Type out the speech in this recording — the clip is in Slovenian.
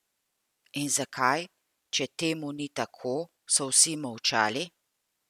In zakaj, če temu ni tako, so vsi molčali?